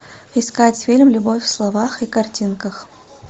искать фильм любовь в словах и картинках